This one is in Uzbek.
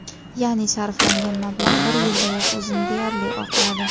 Ya’ni, sarflangan mablag‘ bir yildayoq o‘zini deyarli oqladi.